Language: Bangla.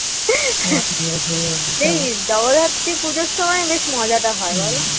সেই জগদ্ধাত্রী পুজোর সময় মজাটা হয় বলো